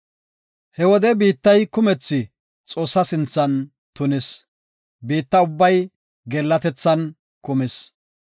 He wode biittay kumethi Xoossa sinthan tunis; biitta ubbay geellatethan kumis.